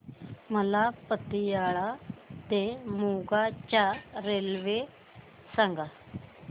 मला पतियाळा ते मोगा च्या रेल्वे सांगा